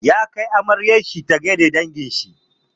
Yana kai amaryar shi ta gai da dangin shi.